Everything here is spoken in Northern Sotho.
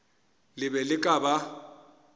le be le ka ba